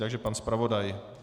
Takže pan zpravodaj.